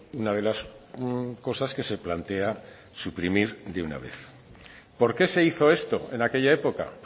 una de las cosas que se plantea suprimir de una vez por qué se hizo esto en aquella época